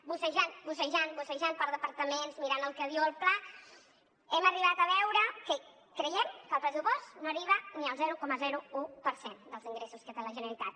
bussejant bussejant bussejant per departaments mirant el que diu el pla hem arribat a veure que creiem que el pressupost no arriba ni al zero coma un per cent dels ingressos que té la generalitat